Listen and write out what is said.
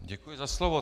Děkuji za slovo.